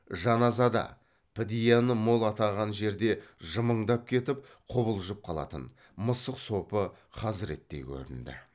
жаназада підияны мол атаған жерде жымыңдап кетіп құбылжып қалатын мысық сопы хазіреттей көрінді